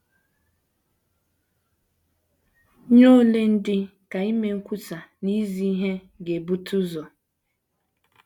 Nye ole ndị ka ime nkwusa na izi ihe ga - ebute ụzọ?